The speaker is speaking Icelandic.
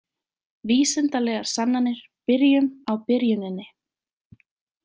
Vísindalegar sannanir Byrjum á byrjuninni.